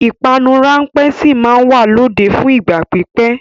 Ìpanu ráńpẹ́ sì máa wà lóde fún ìgbà pípẹ́.